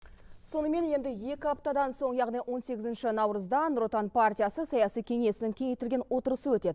сонымен енді екі аптадан соң яғни он сегізінші наурызда нұр отан партиясы саяси кеңесінің кеңейтілген отырысы өтеді